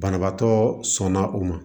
Banabaatɔ sɔnna o ma